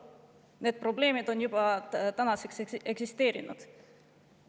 Need probleemid juba eksisteerivad.